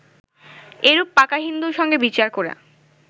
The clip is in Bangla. এরূপ পাকা হিন্দুর সঙ্গে বিচার করা